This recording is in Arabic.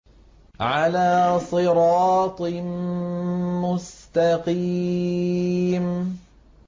عَلَىٰ صِرَاطٍ مُّسْتَقِيمٍ